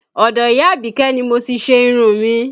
Ọdọ ìyá abike ni mo ti ṣe irun mi